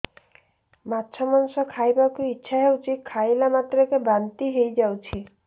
ମାଛ ମାଂସ ଖାଇ ବାକୁ ଇଚ୍ଛା ହଉଛି ଖାଇଲା ମାତ୍ରକେ ବାନ୍ତି ହେଇଯାଉଛି